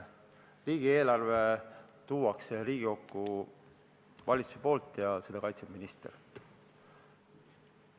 Riigieelarve tuuakse Riigikokku valitsuse poolt ja seda kaitseb minister.